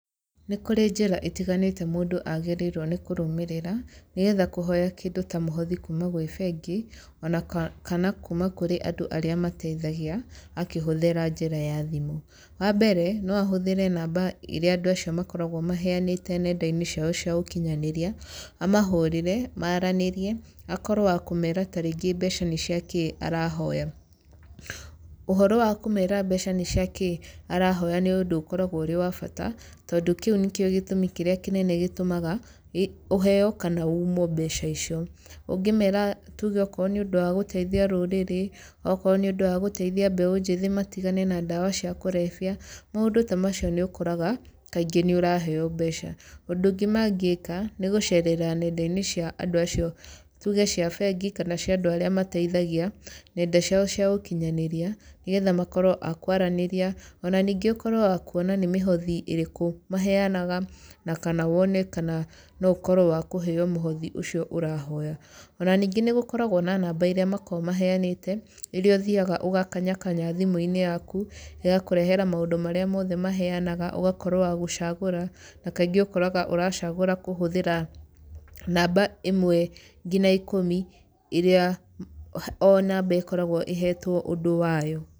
Nĩ kũrĩ njĩra itiganĩte mũndũ agĩrĩirwe nĩ kũrũmĩrĩra nĩgetha kũhoya kĩndũ ta mũhothi kuuma kwĩ bengi ona kana kuuma kwĩ andũ arĩa mateithagia akĩhũthĩra njĩra ya thimũ, wambere noahũthĩre namba iria andũ acio akoragwo maheanĩte nendaine ciao cia ũkinyanĩria amahũrĩre, maranĩrie akorwo wakũmera mbeca nĩciakĩ arahoya, ũhoro wakũmera mbeca nĩciakĩ arahoya nĩũndũ ũrĩ wa bata tondũ kĩũ nĩkĩo gĩtũmi kĩrĩa kĩnene gĩtũaga ũheo kana wimwe mbeca icio ,ũngĩmera tuge nĩũndũ wagũteithia rũrĩrĩ wakorwo nĩũndũ wa gũteithia beũ njĩthĩ matigane na ndawa cia kũrebia maũndũ ta macio nĩũkoraga kaingĩ nĩũraheo mbeca, ũndũ ũngĩ mangĩka mĩgũcerera nendainĩ cia andũ acio tuge cia bengi kana cia andũ arĩa mateithagia nenda ciao cia ũkinyanĩria nĩgetha akorwo makwaranĩria ona ningĩ ũkorwo wakwona nĩmĩhothi ĩrĩkũ maheanaga na kana wone noũkorwe wakũheo mũhothi ũcio ũrahoya, ona ningĩ nĩgũkoragwa na namba ĩrĩa makoragwa maheanĩte rĩrĩa ũthiaga ũgakanyakanya thimũinĩ yaku ĩgakũrehera maũndũ marĩa mothe maheanaga ũgakorwo wagũcagura nakaingĩ ũkoraga ũracagũra kũhũthĩra namba ĩmwe nginya ikũmi iria onamba ĩkoragwa ĩhetwo ũndũ wayo.